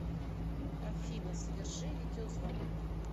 афина соверши видеозвонок